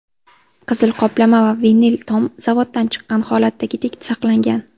Qizil qoplama va vinil tom zavoddan chiqqan holatdagidek saqlangan.